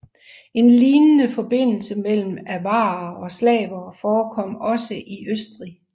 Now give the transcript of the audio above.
En lignende forbindelse mellem avarere og slavere forekom også i Østrig